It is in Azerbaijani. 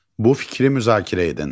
Bu fikri müzakirə edin.